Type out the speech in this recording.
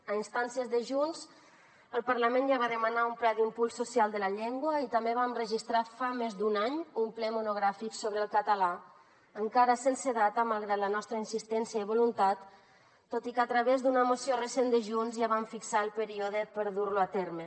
a instàncies de junts el parlament ja va demanar un pla d’impuls social de la llengua i també vam registrar fa més d’un any un ple monogràfic sobre el català encara sense data malgrat la nostra insistència i voluntat tot i que a través d’una moció recent de junts ja vam fixar el període per dur lo a terme